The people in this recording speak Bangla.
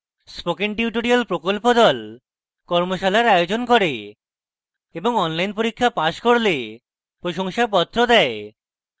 spoken tutorial প্রকল্প the কর্মশালার আয়োজন করে এবং online পরীক্ষা pass করলে প্রশংসাপত্র দেয়